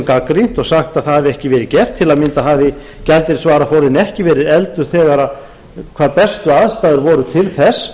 gagnrýnt og sagt að það hafi ekki verið gert til að mynda hafi gjaldeyrisvaraforðinn ekki verið efldur þegar hvað bestu aðstæður voru til þess